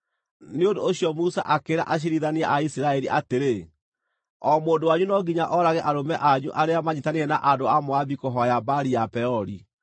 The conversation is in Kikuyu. Nĩ ũndũ ũcio Musa akĩĩra aciirithania a Isiraeli atĩrĩ, “O mũndũ wanyu no nginya oorage arũme anyu arĩa manyiitanĩire na andũ a Moabi kũhooya Baali ya Peori.”